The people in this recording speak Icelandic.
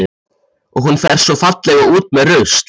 Og hún fer svo fallega út með rusl.